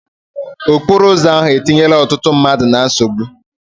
Okporo ụzọ ahụ etinyela ọtụtụ mmadụ na nsogbu.